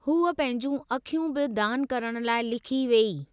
हूअ पंहिंजूं अखियूं बि दान करण लाइ लिखी वेई।